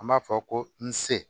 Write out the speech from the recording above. An b'a fɔ ko n se